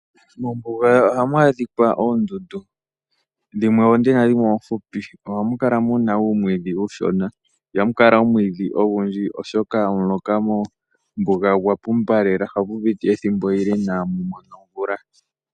Mombuga hamu adhika oondundu dhimwe oonde dhimwe oohupi nohamu kala muna uumwidhi uushona ihamu kala muna omwiidhi odhindji , oshoka omuloka mombuga ogwa pumba lela ohapu piti ethimbo ele inamu mona omvula.